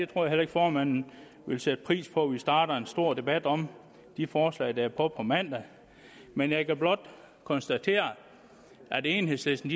tror heller ikke formanden vil sætte pris på at vi starter en stor debat om de forslag der er på dagsordenen på mandag men jeg kan blot konstatere at enhedslisten